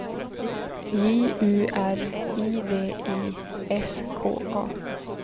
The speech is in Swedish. J U R I D I S K A